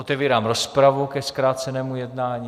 Otevírám rozpravu ke zkrácenému jednání.